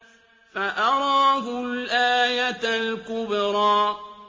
فَأَرَاهُ الْآيَةَ الْكُبْرَىٰ